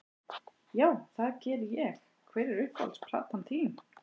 Já, það geri ég Hver er uppáhalds platan þín?